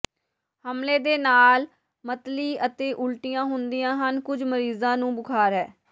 ਹਮਲੇ ਦੇ ਨਾਲ ਮਤਲੀ ਅਤੇ ਉਲਟੀਆਂ ਹੁੰਦੀਆਂ ਹਨ ਕੁਝ ਮਰੀਜ਼ਾਂ ਨੂੰ ਬੁਖ਼ਾਰ ਹੈ